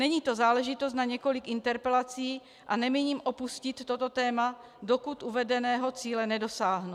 Není to záležitost na několik interpelací a nemíním opustit toto téma, dokud uvedeného cíle nedosáhnu.